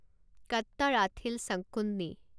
Kattarathil Sankunni